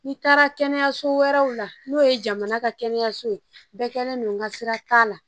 N'i taara kɛnɛyaso wɛrɛw la n'o ye jamana ka kɛnɛyaso ye bɛɛ kɛlen don n ka sira t'a la